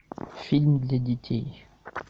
фильм для детей